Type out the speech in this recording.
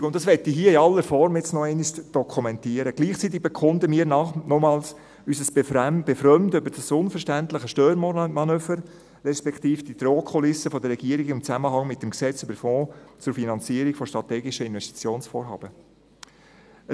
Gleichzeitig – das will ich hier in aller Form noch einmal dokumentieren – bekunden wir nochmals unser Befremden über das unverständliche Störmanöver respektive die Drohkulisse der Regierung im Zusammenhang mit dem Gesetz über den Fonds zur Finanzierung von strategischen Investitionsvorhaben (FFsIG).